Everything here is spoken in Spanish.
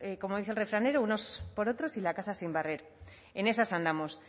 como dice el refranero unos por otros y la casa sin barrer en esas andamos